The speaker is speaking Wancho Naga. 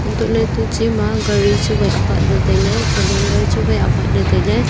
hantohley etu chima gaari chuwai apat ley tailey calendar chuwai patley tailey.